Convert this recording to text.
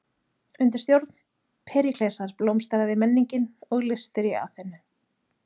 Undir stjórn Períklesar blómstraði menningin og listir í Aþenu.